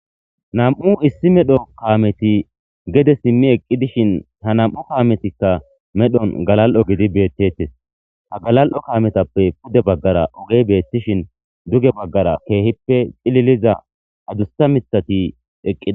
Nam'u issi medho kameti gede simi eqi dishin ha nam'u kametika medhon galal'o gididi betetes ha galal'o kametape pude bagara oge betishin duge bagara kehipe c'liliza adusa mitati eqida.